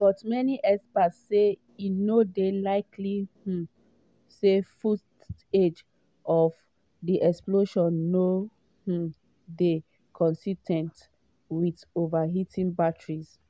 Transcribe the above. but many experts say e no dey likely um say footage of di explosions no um dey consis ten t with overheating batteries.